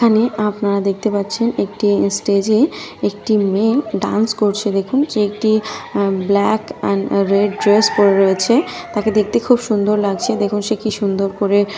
আমি আপনারা দেখতে পাচ্ছেন একটি স্টেজে একটি মেয়ে ডান্স করছে। দেখুন সে একটি ব্ল্যাক এন্ড রেড ড্রেস পড়ে রয়েছে। তাকে দেখতে খুব সুন্দর লাগছে দেখুন সে কি সুন্দর করে।